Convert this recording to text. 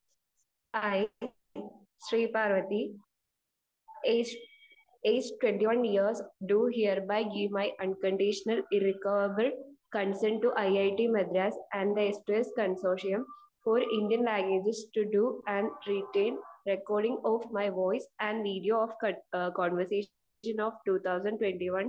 speaker 1 hi Sreeparvathi age 21 years do hereby give my unconditional irrevocable consent to IIT Madras and the consortium for Indian languages to do and written recording of my voice and videos of conversation 2021